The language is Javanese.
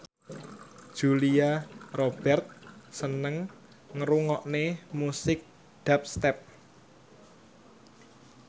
Julia Robert seneng ngrungokne musik dubstep